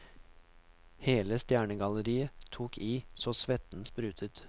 Hele stjernegalleriet tok i så svetten sprutet.